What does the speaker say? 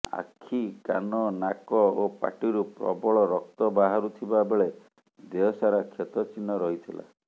ଆଖି କାନ ନାକ ଓ ପାଟିରୁ ପ୍ରବଳ ରକ୍ତ ବାହାରୁଥିବା ବେଳେ ଦେହସାରା କ୍ଷତ ଚିହ୍ନ ରହିଥିଲା